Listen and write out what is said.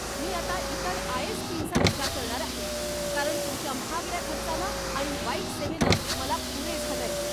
मी आता इतर आय.एस.पीं.चा विचार करणार आहे, कारण तुमच्या महागड्या खर्चानं आणि वाईट सेवेनं मला पुरे झालंय.